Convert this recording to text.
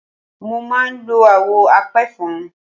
Mo máa ń lo àwọ̀ apẹ̀fọn.